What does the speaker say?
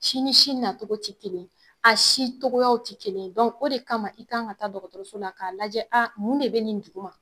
Si ni si na cogo tɛ kelen ye , a si cogoyaw tɛ kelen ye o de kama i kan ka taa dɔgɔtɔrɔso la ka lajɛ mun de bɛ nin di?